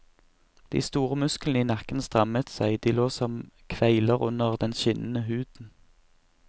De store musklene i nakken strammet seg, de lå som kveiler under den skinnende huden.